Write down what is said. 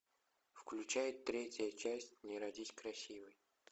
включай третья часть не родись красивой